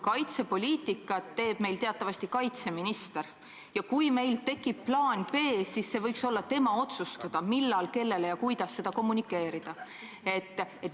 Kaitsepoliitikat teeb meil teatavasti kaitseminister ja kui meil tekib plaan B, siis see võiks olla tema otsustada, millal, kellele ja kuidas seda kommunikeerida.